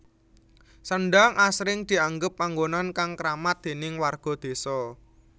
Sendhang asring dianggep panggonan kang kramat déning warga désa